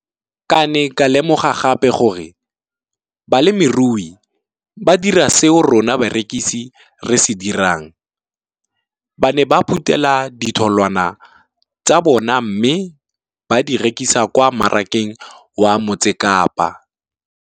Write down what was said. Ke ne ka lemoga gape gore balemirui ba dira seo rona barekisi re se dirang ba ne ba phuthela ditholwana tsa bona mme ba di rekisa kwa marakeng wa Motsekapa.